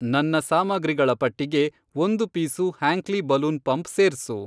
ನನ್ನ ಸಾಮಗ್ರಿಗಳ ಪಟ್ಟಿಗೆ, ಒಂದು ಪೀಸು ಹ್ಯಾಂಕ್ಲಿ ಬಲೂನ್ ಪಂಪ್ ಸೇರ್ಸು.